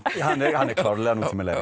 hann er klárlega nútímalegri